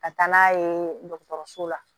Ka taa n'a ye dɔgɔtɔrɔso la